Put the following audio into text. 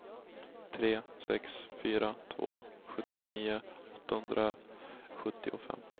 tre sex fyra två sjuttionio åttahundrasjuttiofem